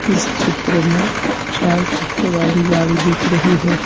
इस क्षेत्र में चार चक्के वाली गाड़ी दिख रही है।